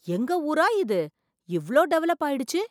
எங்க ஊரா இது இவ்ளோ டெவலப் ஆயிடுச்சு!